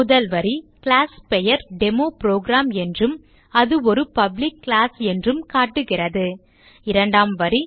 முதல் வரி கிளாஸ் பெயர் DemoProgramஎன்றும் அது ஒரு பப்ளிக் கிளாஸ் என்றும் காட்டுகிறது இரண்டாம் வரி